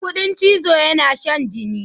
Kuɗin chizo yana shan jini.